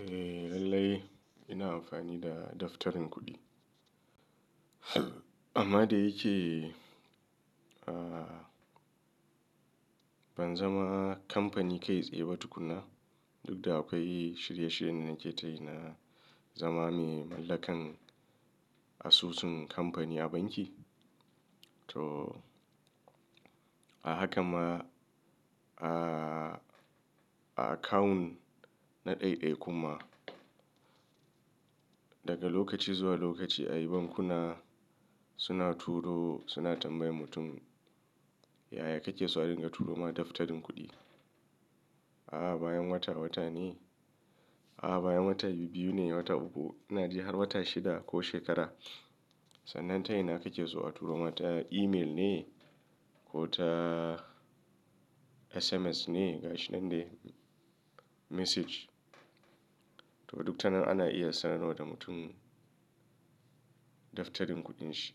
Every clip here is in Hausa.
Eh lallai ina amfani da daftarin kuɗi. Amma da yake ban zama kamfani kai tsaye ba tukunna, duk da akwai shirye shiryen da nake tayi na zama mai mallakan asusun kamfani a banki. To a haka ma a account na ɗai-ɗai kuma, daga lokaci zuwa lokaci ayi bankuna suna turo, suna tambayar mutum, yaya kake so a dinga turo ma daftarin kuɗi? Ah baya wata, wata ne, ah baya wata biyu ne, wata uku, ina ji har wata shida ko shekara. Sannan ta ina kake so a turo ma ta email ne ko ta SMS ne? Ga shi nan dai message. To duk ta nan ana iya sanarwa da mutum daftarin kuɗin shi.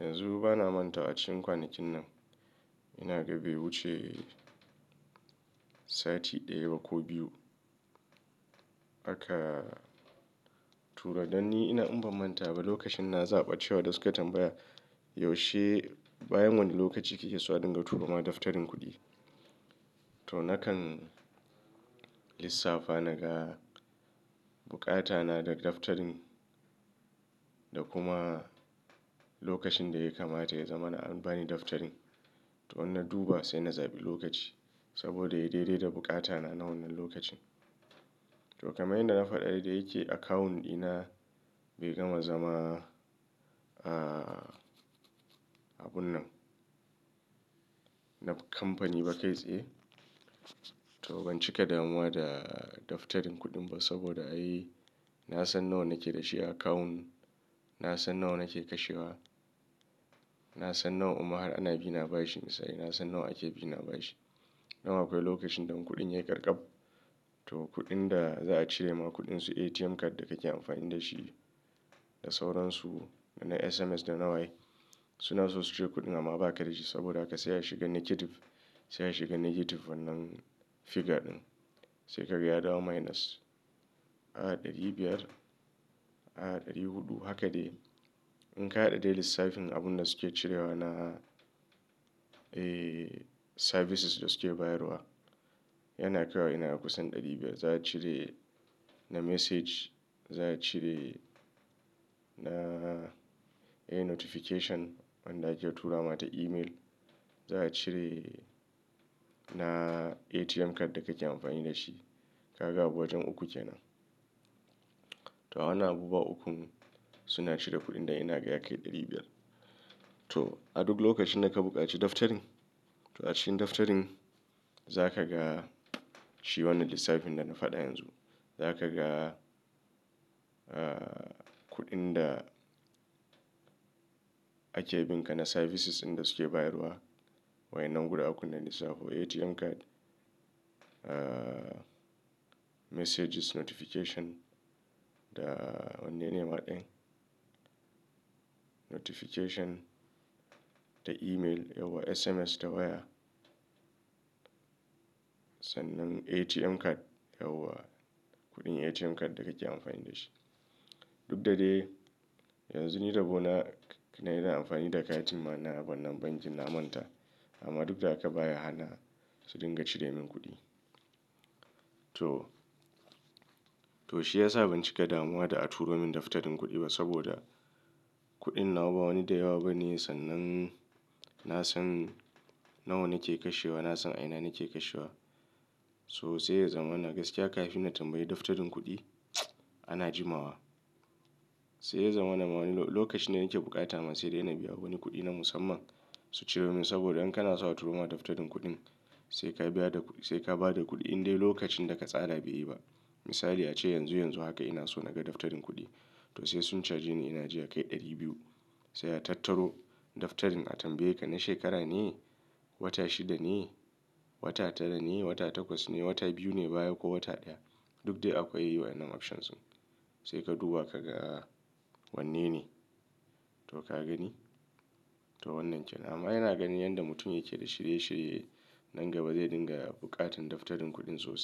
Yanzu bana manta a cikin kwanakin nan ina ga be wuce sati ɗaya ko biyu haka tura danni ina in ba manta ba lokacin na zaɓi cewa da suke tambaya, yaushe bayan wane lokaci kake so a dinga turo ma daftarin kuɗi? To nakan lissafa naga buƙata na da daftarin da kuma lokacin da ya kamata ya zama na an bani daftarin. To in na duba sai na zaɓi lokaci saboda ya dai-dai da buƙata na, na wannan lokacin. To kamar yadda na faɗa da yake account ɗina bai gama zama, ah abun nan na kamfani ba kai tsaye. To ban cika damuwa da daftarin kuɗin ba saboda ai nasan nawa nake da shi account, nasan nawa nake kashewa, nasan nawa imma ana bina bashi misali, nasan nawa ake bina bashi. Dan akwai lokacin dan kuɗina ya yi karkaf. To kuɗin da za a cire ma kuɗin su ATM card da kake amfani da shi, da sauransu na SMS, da nawa ye. Suna so su cire kuɗin amma ba ka da shi saboda haka sai ya shiga negative, sai ya shiga negative wannan figure ɗin. Sai ka ga ya dawo minus. A'a ɗari biyar, a'a ɗari huɗu. Haka dai in ka haɗa dai lissafin abun da suke cirewa na, eh services da suke bayarwa yana kaiwa ina da kusan ɗari biyar. Za a cire na message, za a cire na notification wanda ake tura ma ta email, za a cire na ATM card da kake amfani da shi. Ka ga abu wajen uku kenan. To ana abubuwa uku suna cire kuɗin da ina ga ya kai ɗari biyar. To a duk lokacin da ka buƙaci daftarin, to a cikin daftarin za ka ga shi wannan lissafin da na faɗa yanzu. Za ka ga, ah kudin da ake bin ka na services inda suke bayarwa. Wai nan guda uku nan lissafin ATM card, messages, notification da wanne ne ma ɗayan? Notification da email, yauwa! SMS ta waya. Sannan ATM card, yauwa kuɗin ATM card da kake amfani da shi. Duk da dai yanzu ni rabo na, ina iya amfani da katin na, na wannan bankin na manta. Amma duk da haka baya hana su dinga cire min kuɗi. To! To shi ya sa ban cika damuwa da a turo min daftarin kuɗi ba saboda kuɗin nawa ba wani da yawa ba ne sannan nasan nawa nake kashewa, nasan a ina nake kashewa. So sai ya zama na gaskiya kafin na tambayi daftarin kuɗi ana jimawa. Sai ya zama na wani lokacin da nake bukata man sai dai na biya wani kuɗi na musamman su cire min saboda in kana so a turo ma daftarin kuɗin sai ka biya da kuɗi, sai ka ba da kuɗi in dai lokacin da ka tsara bai yi ba. Misali ace yanzu yanzu haka ina so naga daftarin kuɗi. To sai sun cage ni ina ji ya kai ɗari biyu. Sai a tattaro daftarin a tambaye ka na shekara ne, wata shida ne, wata tara ne, wata takwas ne, wata biyu ne baya ko wata ɗaya. Duk dai akwai yiwuwar ama option su. Sai ka duba ka ga wanne ne to ka gani. To wannan kenan. Amma yana gani yanda mutum yake da shirye-shirye nan gaba zai dinga buƙatan daftarin kuɗin sosai.